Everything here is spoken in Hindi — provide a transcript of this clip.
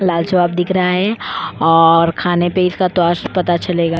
लाजवाब दिख रहा है और खाने पे इसका पता चलेगा।